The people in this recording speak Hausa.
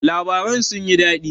Labaran sun yi daɗi?